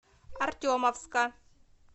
артемовска